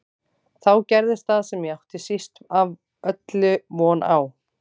Þá gerðist það sem ég átti síst af öllu von á.